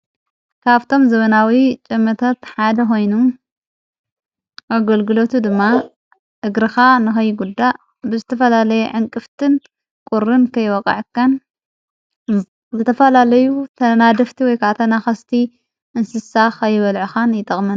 ካብቶም ዘበናዊ ጨመቶት ሓደ ሆይኑ ኣገልግሎቱ ድማ እግርኻ ንኸይ ጉዳ ብዝተፈላለየ ዕንቅፍትን ቑርን ከይወቓዕካን ዘተፈላለዩ ተናድፍቲ ወይካዓ ተናኸስቲ እንስሳ ኸይበልዕኻን ይጠቕመና።